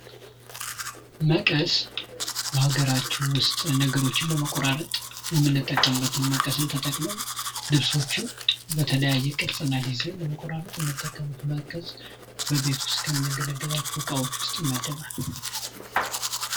መቀስ ሀገራችን ውስጥ ነገሮችን ለመቆራረጥ የምንጠቀምበት ነው። መቀስን ተጠቅመን ልብሶችን በተለያየ ቅርጽና ድዛይን ለመስራት ያገለግላል። በቤት ውስጥ ከምንገለገልባቸው እቃዎች ውስጥ ይመደባል።